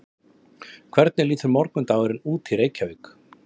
hvernig lítur morgundagurinn út í reykjavík